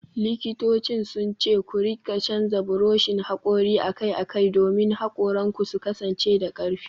Likitocin sun ce ku rika canza buroshin hakori akai-akai domin hakoranku su kasance da karfi.